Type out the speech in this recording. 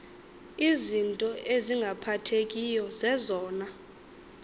izinto ezingaphathekiyo zezona